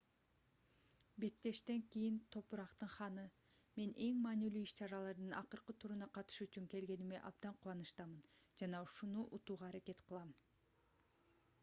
беттештен кийин топурактын ханы мен эң маанилүү иш-чаралардын акыркы туруна катышуу үчүн келгениме абдан кубанычтамын жана ушуну утууга аракет кылам